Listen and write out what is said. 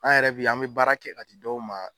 An yɛrɛ bɛ yen an bɛ baara kɛ a k'a di dɔw ma